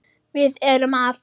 Hvað er að?